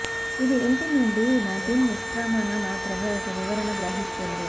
ఇది ఇంటి నుండి నదిన్ నిష్క్రమణ మాత్రమే ఒక వివరణ గ్రహిస్తుంది